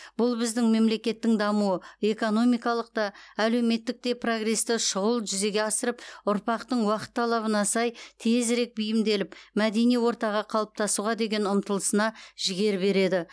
бұл біздің мемлекеттің дамуы экономикалық та әлеуметтік те прогресті шұғыл жүзеге асырып ұрпақтың уақыт талабына сай тезірек бейімделіп мәдени ортаға қалыптасуға деген ұмтылысына жігер береді